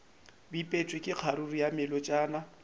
bipetšwe ka kgaruru ya melotšana